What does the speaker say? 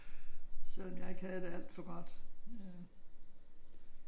Selvom jeg ikke havde det alt for godt